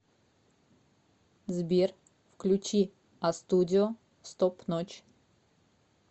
сбер включи астудио стоп ночь